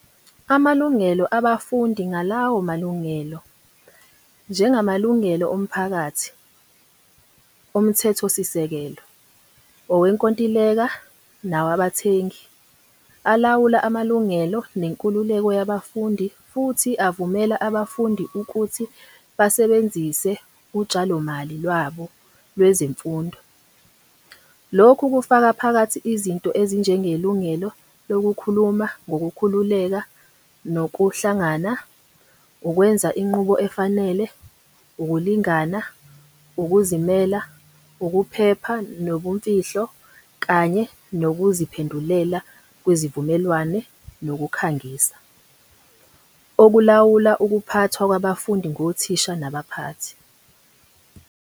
Amalungelo abafundi ngalawo malungelo, njengamalungelo omphakathi, omthethosisekelo, awenkontileka nawabathengi, alawula amalungelo nenkululeko yabafundi futhi avumela abafundi ukuthi basebenzise utshalomali lwabo kwezemfundo. Lokhu kufaka phakathi izinto ezinjengelungelo lokukhuluma ngokukhululeka nokuhlangana, ukwenza inqubo efanele, ukulingana, ukuzimela, ukuphepha nobumfihlo, kanye nokuziphendulela kwizivumelwano nokukhangisa, okulawula ukuphathwa kwabafundi ngothisha nabaphathi.